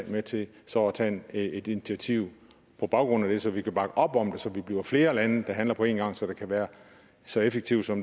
med til så at tage et initiativ på baggrund af det så vi kan bakke op om det så vi bliver flere lande der handler på en gang så det kan være så effektivt som